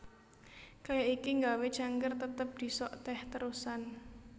Kaya iki nggawé cangkir tetep disok teh terusan